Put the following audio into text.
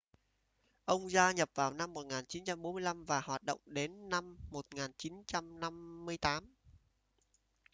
ông gia nhập vào năm 1945 và hoạt động đến năm 1958